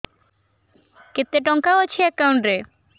କେତେ ଟଙ୍କା ଅଛି ଏକାଉଣ୍ଟ୍ ରେ